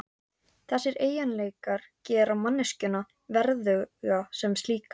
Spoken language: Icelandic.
Þessir eiginleikar gera manneskjuna verðuga sem slíka.